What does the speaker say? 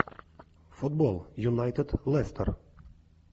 футбол юнайтед лестер